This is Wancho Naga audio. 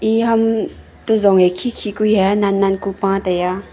ee ham to zong ee khi khi ku hia nan nan ku paa taiya.